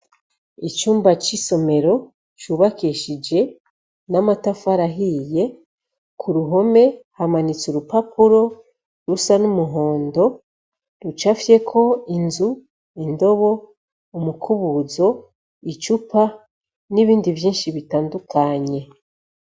Icumba c'isomero cubakishije n'amatafari ahiye, k'uruhome hamanitse urupapuro rusa n'umuhondo rucafyeko inzu, indobo, umukubuzo, icupa n'ibindi vyinshi bitandukanye.